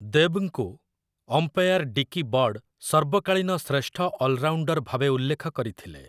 ଦେବ୍‌ଙ୍କୁ umpire Dickie Bird ସର୍ବକାଳୀନ ଶ୍ରେଷ୍ଠ allrounder ଭାବେ ଉଲ୍ଲେଖ କରିଥିଲେ ।